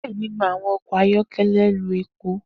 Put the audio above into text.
Diẹ ninu awọn ọkọ ayọkẹlẹ lo epo.